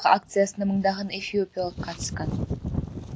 акциясына мыңдаған эфиопиялық қатысқан